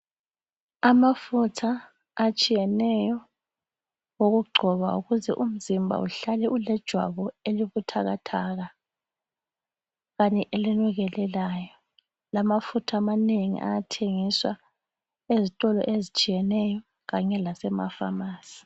Amafutha atshiyeneyo okugcoba ukuze umzimba uhlale ulejwabu elibuthakathaka kanye elinukelelayo. Amafutha amanengi ayathengiswa ezitolo ezitshiyeneyo kanye lasema pharmacy